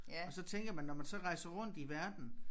Og så tænker man når man så rejser rundt i verden